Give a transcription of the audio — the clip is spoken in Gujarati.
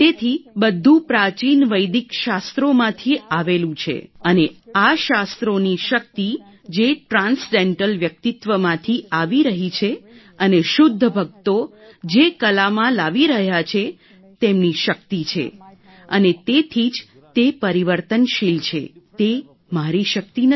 તેથી બધું પ્રાચીન વૈદિક શાસ્ત્રોમાંથી આવેલું છે અને આ શાસ્ત્રોની શક્તિ જે ટ્રાન્સડેન્ટલ વ્યક્તિત્વમાંથી આવી રહી છે અને શુદ્ધ ભક્તો જે કલામાં લાવી રહ્યા છે તેમની શક્તિ છે અને તેથી જ તે પરિવર્તનશીલ છે તે મારી શક્તિ નથી